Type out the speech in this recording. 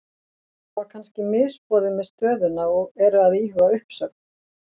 Hafa kannski misboðið með stöðuna og eru að íhuga uppsögn?